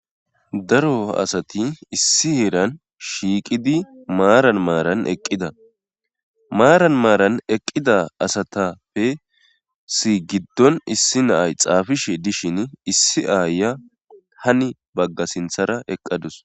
Daro asati issi heeran shiiqidi maaran maaran eqqida maaran maaran eqqida asatappe si giddon issi naay xaafishe dishin issi aaya hani bagga sinthara eqqadus.